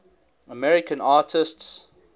american artists